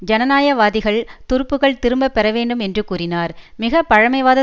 ஜனநாயகவாதிகள் துருப்புக்கள் திரும்ப பெற வேண்டும் என்று கூறினர் மிக பழமைவாத